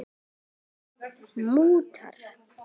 Andri: Mútur?